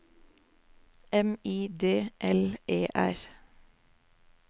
M I D L E R